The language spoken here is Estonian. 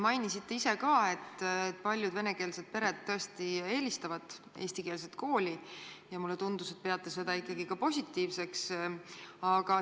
Mainisite ise ka, et paljud venekeelsed pered tõesti eelistavad eestikeelset kooli, ja mulle tundus, et te peate seda ikkagi positiivseks.